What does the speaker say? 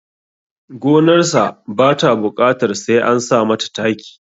Gonarsa ba ta buƙatar sai an sa mata taki